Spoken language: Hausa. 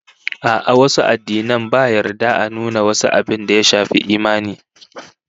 A'a, wasu addinan ba yarda a nuna wasu abin da ya shafi imani